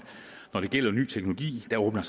når det gælder ny teknologi åbner